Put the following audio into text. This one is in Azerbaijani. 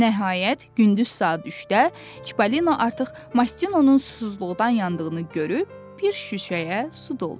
Nəhayət, gündüz saat 3-də Çipollino artıq Mastinonun susuzluqdan yandığını görüb, bir şüşəyə su doldurdu.